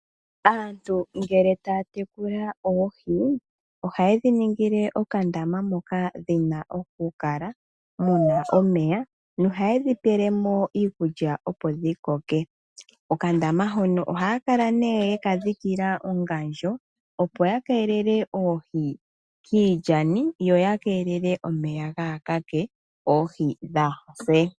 Aantu ngele taya tekula oohi, ohaye dhi ningile okandama moka dhi na okukala, mu na omeya. Nohaye dhi pele mo iikulya opo dhi koke. Okandaama hono ohaya kala nee ye ka dhikila ongandjo, opo ya keelele oohi kiilyani yo ya keelele omeya gaa kake, oohi dhaa se.